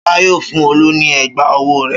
Ṣọlá yóò fún Olú ní ẹ̀gbá-ọwọ́ rẹ̀.